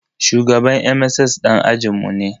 Shugaban MSS ɗan ajin mu ne